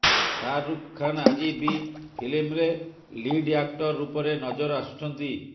ଶାହରୁଖ ଖାନ୍ ଆଜି ବି ଫିଲ୍ମ ରେ ଲିଡ୍ ଆକ୍ଟର୍ ରୂପରେ ନଜର ଆସୁଛନ୍ତି